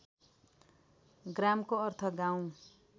ग्रामको अर्थ गाउँ